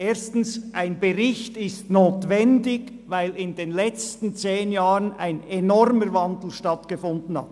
Erstens: Ein Bericht ist notwendig, weil in den letzten zehn Jahren ein enormer Wandel stattgefunden hat.